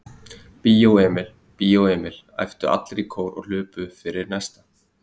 Bíó Emil, Bíó Emil. æptu allir í kór og hlupu upp fyrir næsta